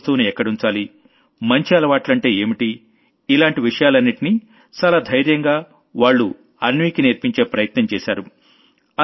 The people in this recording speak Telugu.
ఏ వస్తువును ఎక్కడుంచాలి మంచి అలవాట్లంటే ఏంటి లాంటి విషయాలన్నింటినీ చాలా ధైర్యంగా వాళ్లు అన్వీకి నేర్పించే ప్రయత్నం చేశారు